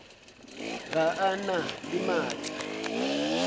ga a na le maatla